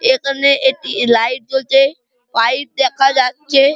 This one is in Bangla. এখানে একটি লাইট জ্বলছে পাইপ দেখা যাচ্ছে ।